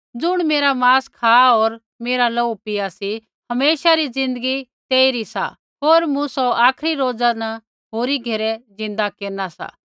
ज़ुण मेरा मांस खा होर मेरा लोहू पीया सी हमेशा री ज़िन्दगी तेइरी सा होर मूँ सौ आखरी रौजा न होरी घेरै जिन्दा केरना सा